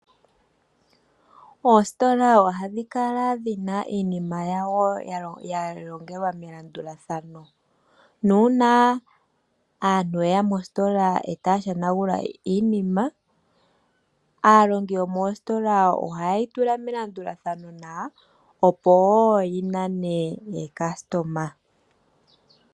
Ositola ohayi kala yi na iinima yawo ya longelwa melandulathano nuuna aantu yeya mositola e taya hanagula iinima aalongi yomositola oha yeyi tula melandulathano nawa opo wo yi nane aalandi.